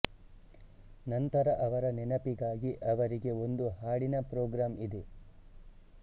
ನಂತರ ಅವರ ನೆನಪಿಗಾಗಿ ಅವರಿಗೆ ಒಂದು ಹಾಡಿನ ಪ್ರೋಗ್ರಾಂ ಇದೆ